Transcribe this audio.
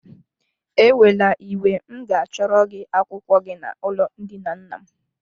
Ekwela iwe m ga achọrọ gị akwụkwọ gị na ụlọ ndina nna m.